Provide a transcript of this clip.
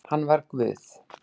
Hann var Guð